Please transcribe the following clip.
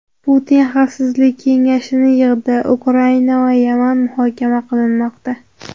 Putin Xavfsizlik kengashini yig‘di: Ukraina va Yaman muhokama qilinmoqda.